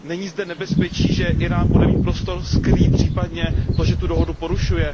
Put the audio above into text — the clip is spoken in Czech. Není zde nebezpečí, že Írán bude mít prostor skrýt případně to, že tu dohodu porušuje?